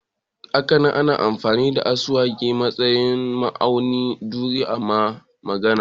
Hakanan ana amfani da ekwe a matsayin nau'in drum na magana